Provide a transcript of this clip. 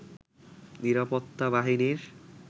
নিরাপত্তা বাহিনীর